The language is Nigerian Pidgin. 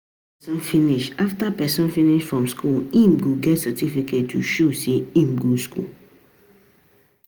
After person finish After person finish from school im go get certificate to show sey im go school